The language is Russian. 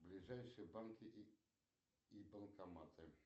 ближайшие банки и банкоматы